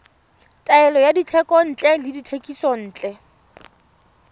taolo ya dithekontle le dithekisontle